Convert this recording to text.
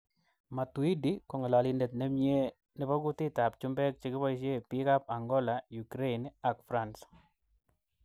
Matuidi kongalolindet nemnye nebo kutit ab chumbek chikiboisie bik ab Angola, Ukrain ak France.